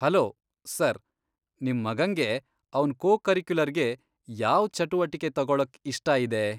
Hello, sir, ನಿಮ್ ಮಗಂಗೆ ಅವ್ನ್ ಕೋಕರಿಕ್ಯುಲರ್ಗೆ ಯಾವ್ ಚಟುವಟಿಕೆ ತಗೊಳಕ್ ಇಷ್ಟ ಇದೆ?